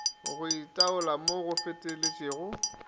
go itaola mo go feteletšego